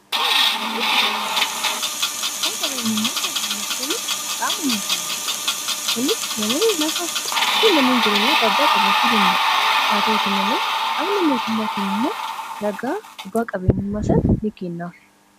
Qabeenyi faayidaa madaalamuu hin dandeenye fi bakka bu’iinsa hin qabne qaba. Jireenya guyyaa guyyaa keessatti ta’ee, karoora yeroo dheeraa milkeessuu keessatti gahee olaanaa taphata. Faayidaan isaa kallattii tokko qofaan osoo hin taane, karaalee garaa garaatiin ibsamuu danda'a.